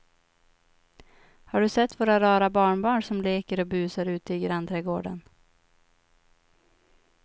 Har du sett våra rara barnbarn som leker och busar ute i grannträdgården!